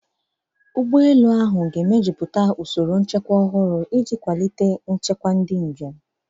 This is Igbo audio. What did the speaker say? Ụgbọ elu ahụ ga-emejuputa usoro nchekwa ọhụrụ iji kwalite nchekwa ndị njem.